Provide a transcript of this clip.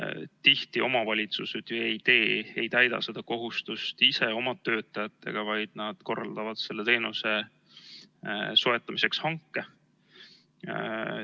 Tihti omavalitsused ju ei täida seda kohustust ise oma töötajatega, vaid nad korraldavad selle teenuse soetamiseks hanke.